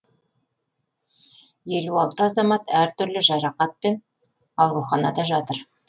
елу алты азамат әртүрлі жарақатпен ауруханада жатыр